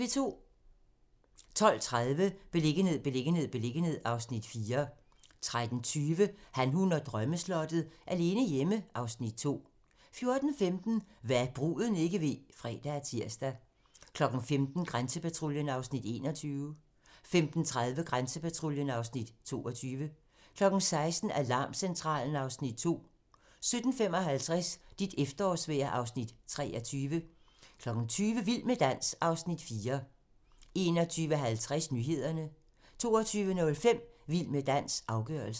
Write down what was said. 12:30: Beliggenhed, beliggenhed, beliggenhed (Afs. 4) 13:20: Han, hun og drømmeslottet - alene hjemme (Afs. 2) 14:15: Hva' bruden ikke ved (fre og tir) 15:00: Grænsepatruljen (Afs. 21) 15:30: Grænsepatruljen (Afs. 22) 16:00: Alarmcentralen (Afs. 2) 17:55: Dit efterårsvejr (Afs. 23) 20:00: Vild med dans (Afs. 4) 21:50: Nyhederne 22:05: Vild med dans - afgørelsen